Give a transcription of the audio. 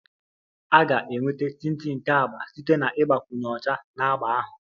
A ga-enweta tinti nke agba site na ịgbakwunye ọcha na agba ahụ